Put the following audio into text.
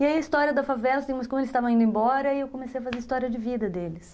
E aí a história da favela, como eles estavam indo embora, eu comecei a fazer história de vida deles.